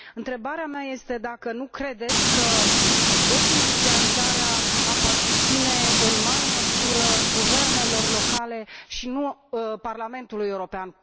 Întrebarea mea este dacă nu credeți că dezindustrializarea aparține în mare măsură guvernelor locale, și nu Parlamentului European.